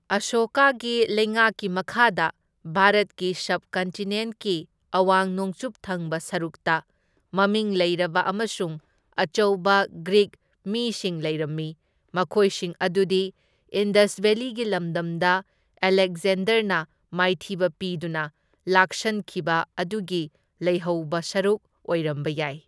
ꯑꯁꯣꯀꯥꯒꯤ ꯂꯩꯉꯥꯛꯀꯤ ꯃꯈꯥꯗ ꯚꯥꯔꯠꯀꯤ ꯁꯕꯀꯟꯇꯤꯅꯦꯟꯠꯀꯤ ꯑꯋꯥꯡ ꯅꯣꯡꯆꯨꯞ ꯊꯪꯕ ꯁꯔꯨꯛꯇ ꯃꯃꯤꯡ ꯂꯩꯔꯕ ꯑꯃꯁꯨꯡ ꯑꯆꯧꯕ ꯒ꯭ꯔꯤꯛ ꯃꯤꯁꯤꯡ ꯂꯩꯔꯝꯃꯤ, ꯃꯈꯣꯏꯁꯤꯡ ꯑꯗꯨꯗꯤ ꯏꯟꯗꯁ ꯚꯦꯂꯤꯒꯤ ꯂꯝꯗꯝꯗ ꯑꯂꯦꯀꯖꯦꯟꯗꯔꯅ ꯃꯥꯏꯊꯤꯕ ꯄꯤꯗꯨꯅ ꯂꯥꯛꯁꯟꯈꯤꯕ ꯑꯗꯨꯒꯤ ꯂꯩꯍꯧꯕ ꯁꯔꯨꯛ ꯑꯣꯏꯔꯝꯕ ꯌꯥꯏ꯫